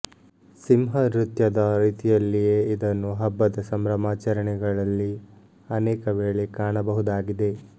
ಸಿಂಹ ನೃತ್ಯದ ರೀತಿಯಲ್ಲಿಯೇ ಇದನ್ನು ಹಬ್ಬದ ಸಂಭ್ರಮಾಚರಣೆಗ ಳಲ್ಲಿ ಅನೇಕವೇಳೆ ಕಾಣಬಹುದಾಗಿದೆ